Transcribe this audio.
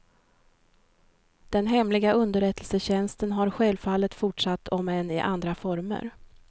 Den hemliga underrättelsetjänsten har självfallet fortsatt om än i andra former.